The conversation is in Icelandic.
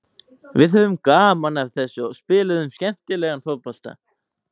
Við höfðum gaman af þessu og spiluðum skemmtilegan fótbolta.